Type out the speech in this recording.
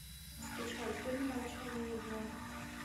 скачать фильм молчание ягнят